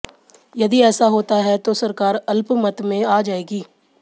यदि ऐसा होता है तो सरकार अल्पमत मे आ जाएगी